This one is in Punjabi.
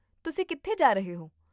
ਤੁਸੀਂ ਕਿੱਥੇ ਜਾ ਰਹੇ ਹੋ?